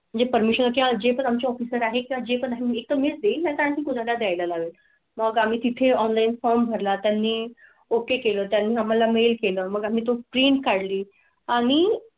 म्हणजे परमेश्वरा चे जे पण आमच्या ऑफीसर आहे का? जे पण हे कमीच देईल. आणखी कोणा? ला द्यायलालागेल मग आम्ही तिथे ऑनलाइन फॉर्म भर ला. त्यांनी ओके केलं. त्यांनी आम्हाला मिळेल केलं. मग आम्ही तो प्रिंट काढली आणि.